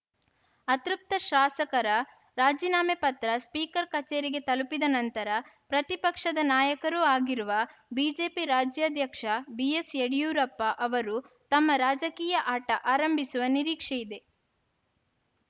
ಅತೃಪ್ತ ಶಾಸಕರ ರಾಜೀನಾಮೆ ಪತ್ರ ಸ್ಪೀಕರ್‌ ಕಚೇರಿಗೆ ತಲುಪಿದ ನಂತರ ಪ್ರತಿಪಕ್ಷದ ನಾಯಕರೂ ಆಗಿರುವ ಬಿಜೆಪಿ ರಾಜ್ಯಾಧ್ಯಕ್ಷ ಬಿಎಸ್‌ಯಡಿಯೂರಪ್ಪ ಅವರು ತಮ್ಮ ರಾಜಕೀಯ ಆಟ ಆರಂಭಿಸುವ ನಿರೀಕ್ಷೆಯಿದೆ